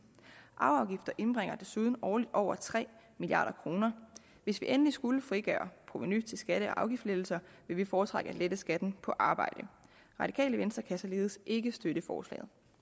arveafgifter indbringer desuden årligt over tre milliard kroner hvis vi endelig skulle frigøre provenu til skatte og afgiftslettelser vil vi foretrække at lette skatten på arbejde det radikale venstre kan således ikke støtte forslaget